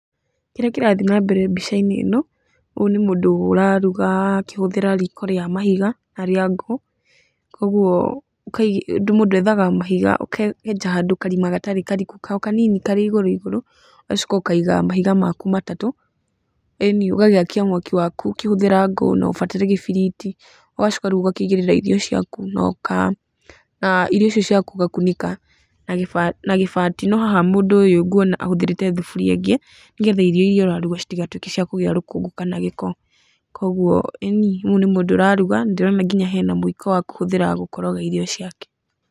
Kĩrĩa kĩrathi nambere mbica-inĩ ĩno, ũyũ nĩ mũndũ ũraruga akĩhũthĩra riko rĩa mahiga na rĩa ngũ. Koguo mũndũ ethaga mahiga, ũkenja handũ karima gatarĩ kariku o kanini tarĩ igũrũ igũrũ, ũgacoka ũkaiga mahiga maku matatũ, ĩni ũgagĩakia mwaki waku ũkĩhũthĩra ngũ na ũbataire gĩbiriti, ũgacoka rĩu ũgakĩigĩrĩra irio ciaku, irio icio ciaku ũgakunĩka na gĩbati no haha mũndũ ũyũ ngũona ahũthĩrĩte thaburia ĩngĩ nĩ getha irio iria ũraruga citigatuĩke cia kũgĩa rũkũngũ kana gĩko. Kũũguo ĩni ũyũ nĩ mũndũ ũraruga na ndĩrona nginya hena mũiko wa kũhũthĩra gũkoroga irio ciake.